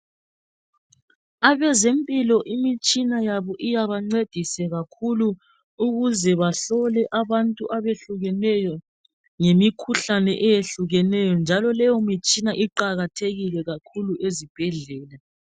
Abezempilo imitshina yabo iyabancedisa kakhulu ukuze bahlole abantu abehlukeneyo ngemikhuhlane eyehlukeneyo, njalo leyo mitshina iqakathekile kakhulu ezibhedlela.